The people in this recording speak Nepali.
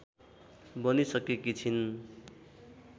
बनिसकेकी छिन्।